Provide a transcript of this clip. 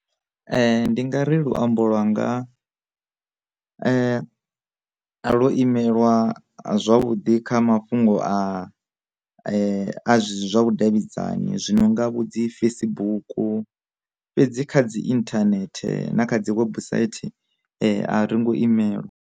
Ndi nga ri luambo lwanga, a ḽo imelwa zwavhudi kha mafhungo a a zwe zwi zwa vhudavhidzani zwino nga vho dzi Facebook, fhedzi kha dzi internet na kha dzi website a ringo imelwa.